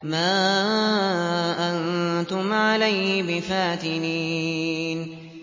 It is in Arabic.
مَا أَنتُمْ عَلَيْهِ بِفَاتِنِينَ